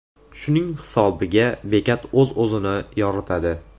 Shuning hisobiga bekat o‘zini-o‘zi yoritadi.